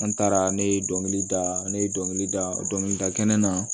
An taara ne ye dɔnkilida ne ye dɔnkilida dɔnkilida kɛnɛ na